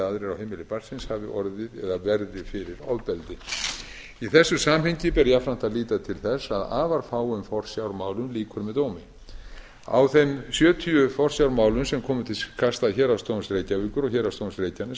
hafi orðið eða verði fyrir ofbeldi í þessu samhengi ber jafnframt að líta til þess að afar fáum forsjármálum lýkur með dómi af þeim sjötíu forsjármálum sem komu til kasta héraðsdóms reykjavíkur og héraðsdóms reykjaness árið tvö